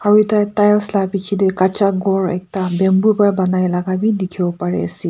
aru eta tiles la bichae tae kacha ghor ekta bamboo pa banai laka bi dikhiwo parease.